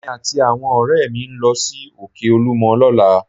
Èmi àti àwọn ọ̀rẹ́ mi ń lọ sí Òkè olúmọ lọ́la